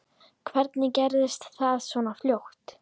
Hvernig gerðist það svona fljótt?